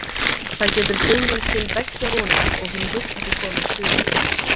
Það getur brugðið til beggja vona og hún vill að þú komir suður.